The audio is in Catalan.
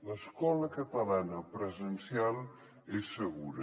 l’escola catalana presencial és segura